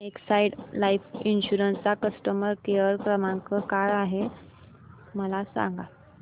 Exide life insurance चा customer care क्रमांक काय आहे मला सांगा